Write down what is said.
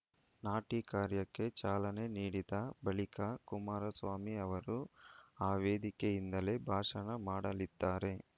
ನಾಟಿ ಕಾರ್ಯಕ್ಕೆ ಚಾಲನೆ ನೀಡಿದ ಬಳಿಕ ಕುಮಾರಸ್ವಾಮಿ ಅವರು ಆ ವೇದಿಕೆಯಿಂದಲೇ ಭಾಷಣ ಮಾಡಲಿದ್ದಾರೆ